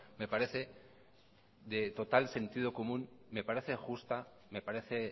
me parece de total sentido común me parece justa me parece